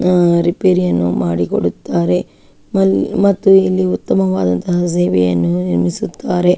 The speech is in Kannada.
ರೆಪೇರಿಯನ್ನು ಮಾಡಿ ಕೊಡುತ್ತಾರೆ ಮತ್ತು ಉತ್ತಮವಾದ ಸೇವೆಯನ್ನು ಒದಗಿಸಿಕೊಡುತ್ತರೆ.